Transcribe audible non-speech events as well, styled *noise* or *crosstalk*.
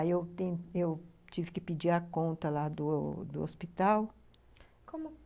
Aí eu *unintelligible* eu tive que pedir a conta lá do hospital. Como *unintelligible*